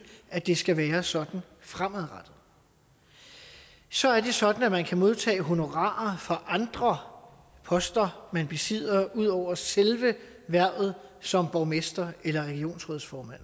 at det skal være sådan fremadrettet så er det sådan at man kan modtage honorarer fra andre poster man besidder ud over selve hvervet som borgmester eller regionsrådsformand